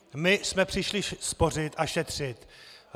My jsme přišli spořit a šetřit.